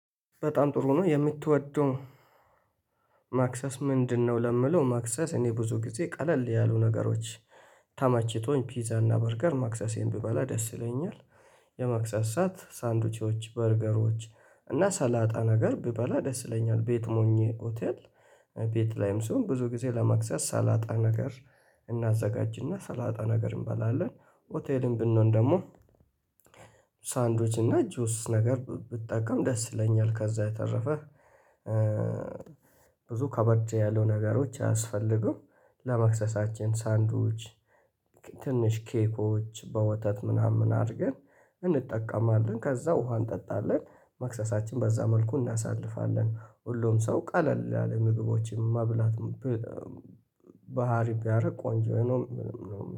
በጣም ጥሩ ነው የምትወደው ማክሰስ ምንድነው? ለምለው ማክሰስ እኔ ብዙ ጊዜ ቀለል ያሉ ነገሮች። ተመችቶኝ ፒዛ እና በርገር ማክሰሴን ቢበላ ደስ ይለኛል። የማክሰሳት ሳንዱቾች በርገሮች። እና ሰላጣ ነገር ቢበላ ደስ ይለኛል ቤት ሞኜ ሆቴል። ቤት ላይም ስሆን ብዙ ጊዜ ለመክሰስ ሰላጣ ነገር። እናዘጋጅና ሰላጣ ነገር እንበላለን ሆቴልን ብንሆን ደግሞ ሳንዶች እና ጆስ ነገር ብጠቀም ደስ ይለኛል። ካዛ የተረፈ ብዙ ከበድ ያለው ነገሮች አያስፈልገውም። ለመክሰሳችን ሳንድዊች። ትንሽ ኬኮች በወተት ምናምን አድርገን እንጠቀማለን። ከዛ ውሃን እንጠጣለን መክሰሳችን በዛ መልኩ እናሳልፋለን። ሁሉም ሰው ቀለል ያለ ምግቦችን መብላት ባህሪ ቢያደርግ ቆንጆ ነው። የምለው